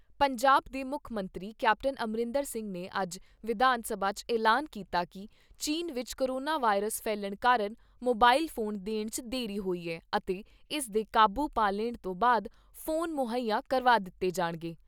ਪੰਜਾਬ ਦੇ ਮੁੱਖ ਮੰਤਰੀ ਕੈਪਟਨ ਅਮਰਿੰਦਰ ਸਿੰਘ ਨੇ ਅੱਜ ਵਿਧਾਨ ਸਭਾ 'ਚ ਐਲਾਨ ਕੀਤਾ ਕਿ ਚੀਨ ਵਿਚ ਕੋਰੋਨਾ ਵਾਇਰਸ ਫੈਲਣ ਕਾਰਨ, ਮੋਬਾਇਲ ਫੋਨ ਦੇਣ 'ਚ ਦੇਰੀ ਹੋਈ ਐ ਅਤੇ ਇਸ ਦੇ ਕਾਬੂ ਪਾ ਲੈਣ ਤੋਂ ਬਾਅਦ ਫੋਨ ਮੁੱਹਈਆ ਕਰਵਾ ਦਿੱਤੇ ਜਾਣਗੇ।